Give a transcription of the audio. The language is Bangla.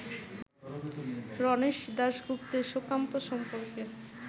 রণেশ দাশগুপ্তের সুকান্ত সম্পর্কে